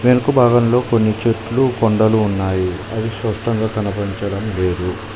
వెనుక భాగంలో కొన్ని చెట్లు కొండలు ఉన్నాయి అవి స్పష్టంగా కనిపించడం లేదు.